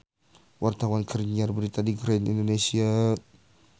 Wartawan keur nyiar berita di Grand Indonesia